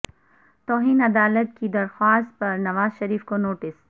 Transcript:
توہین عدالت کی درخواست پر نواز شریف کو نوٹس